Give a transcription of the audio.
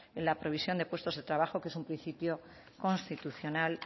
en la provisión de puestos de trabajo que es un principio constitucional